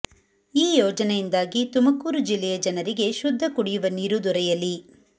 ಈ ಯೋಜನೆಯಿಂದಾಗಿ ತುಮಕೂರು ಜಿಲ್ಲೆಯ ಜನರಿಗೆ ಶುದ್ಧ ಕುಡಿಯುವ ನೀರು ದೊರೆಯಲಿ